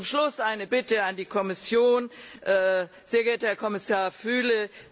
Zum Schluss eine Bitte an die Kommission Sehr geehrter Herr Kommissar Füle!